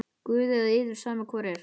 Guði eða yður, sama hvor er!